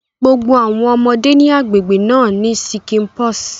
Gbogbo awọn ọmọde ni agbegbe na ní ṣíkìnpọs